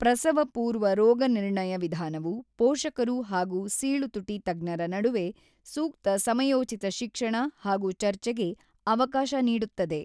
ಪ್ರಸವಪೂರ್ವ ರೋಗನಿರ್ಣಯ ವಿಧಾನವು ಪೋಷಕರು ಹಾಗೂ ಸೀಳುತುಟಿ ತಜ್ಞರ ನಡುವೆ ಸೂಕ್ತ ಸಮಯೋಚಿತ ಶಿಕ್ಷಣ ಹಾಗೂ ಚರ್ಚೆಗೆ ಅವಕಾಶ ನೀಡುತ್ತದೆ.